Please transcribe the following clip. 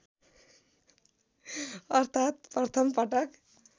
अर्थात् प्रथम पटक